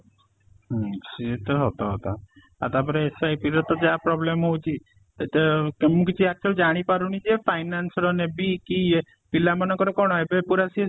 ହୁଁ ସିଏ ତ ସତ କଥା ଆଉ ତା ପରେ SIP ର ତା ଯାହା problem ହଉଚି ସେଟା ମୁଁ କିଛି actually ଜାଣି ପାରୁନି ଯେ finance ର ନେବି କି ଏ ପିଲାମାନଙ୍କର କ'ଣ ଏବେ ପୁରା ସିଏ ସେ